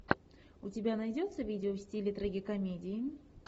у тебя найдется видео в стиле трагикомедии